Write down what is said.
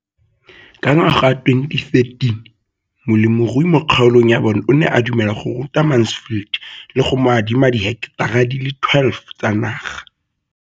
Ka ngwaga wa 2013, molemirui mo kgaolong ya bona o ne a dumela go ruta Mansfield le go mo adima di heketara di le 12 tsa naga.